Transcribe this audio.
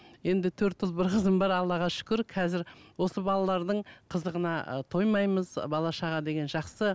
енді төрт ұл бір қызым бар аллаға шүкір қазір осы балалардың қызығына ы тоймаймыз бала шаға деген жақсы